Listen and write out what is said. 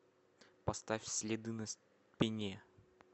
поставь следы на спине